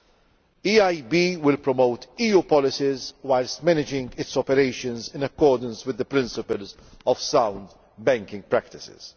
The EIB will promote EU policies whilst managing its operations in accordance with the principles of sound banking practices.